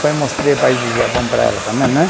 Foi mostrei país do Japão para ela também, né?